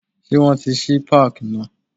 Ṣé wọn tí ṣí páàkì náà.